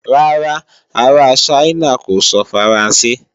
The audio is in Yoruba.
Rárá, ará Ṣáínà kò sọ Faransé.